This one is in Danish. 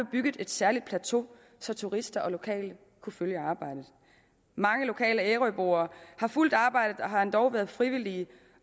bygget et særligt plateau så turister og lokale kunne følge arbejdet mange lokale ærøboere har fulgt arbejdet og har endog været frivillige